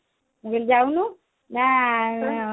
ମୁଁ କହିଲି ଯାଉନୁ ନା